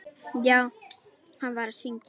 Já, hann var að syngja.